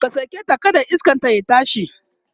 ka saketa kada iskanta ya tashi!